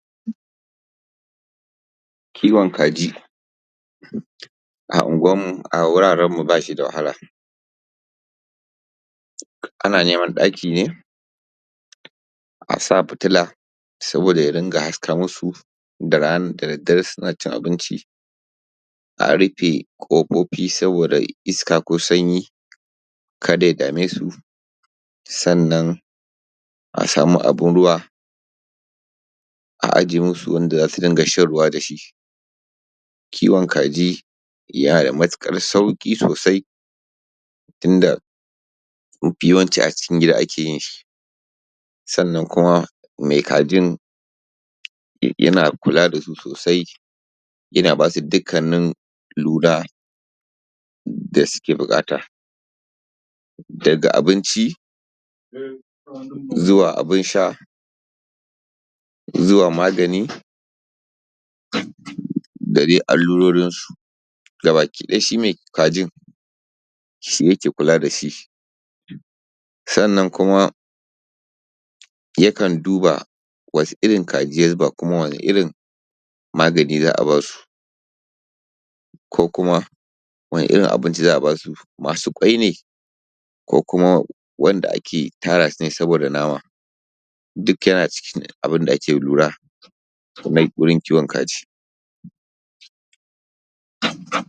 Kiwon kaji. A Unguwarmu, a wurarenmu ba shi da wahala. Ana neman ɗaki ne, a sa fitila saboda ya dinga haska musu da raana da daddare suna cin abinci, a rufe ƙofofi saboda iska ko sanyi kada ya dame su. Sannan a samu abun ruwa, a ajiye musu wanda za su dinga shan ruwa da shi. Kiwon kaji yana da matuƙar sauƙi sosai inda mafi yawanci a cikin gida ake yin shi. Sannan kuma mai kajin yana kula da su sosai, yana ba su dukkannin lura da suke buƙata, daga abinci, zuwa abun sha, zuwa magani, da dai allurorinsu. Gabakiɗaya shi mai kajin, shi yake kula da shi. Sannan kuma yakan duba wasu irin kaji ya zuba, kuma wane irin magani za a ba su, ko kuma, wane irin abinci za a ba su? Masu ƙwai ne; ko kuma wanda ake tara su ne saboda nama? Duk yana cikin abin da ake lura wurin kiwon kaji.